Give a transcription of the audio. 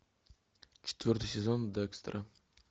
четвертый сезон декстера